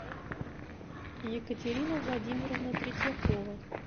екатерина владимировна третьякова